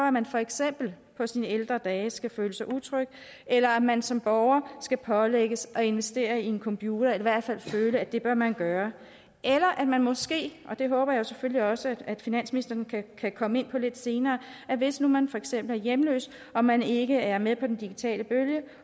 at man for eksempel på sine ældre dage skal føle sig utryg eller at man som borger skal pålægges at investere i en computer eller i hvert fald føle at det bør man gøre eller at man måske og det håber jeg selvfølgelig også at finansministeren kan komme ind på lidt senere hvis nu man for eksempel er hjemløs og man ikke er med på den digitale bølge